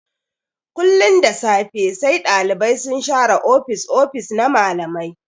Kullun da safe sai Ɗalibai sun share ofis-ofis na malamai.